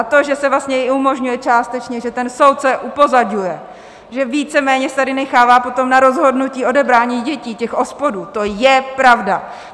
A to, že se vlastně i umožňuje částečně, že ten soud se upozaďuje, že víceméně se tady nechává potom na rozhodnutí odebrání dětí těch OSPODů, to je pravda.